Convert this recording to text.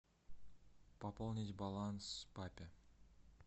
пополнить баланс папе